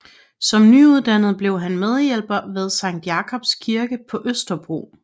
Som nyuddannet blev han medhjælper ved Sankt Jakobs Kirke på Østerbro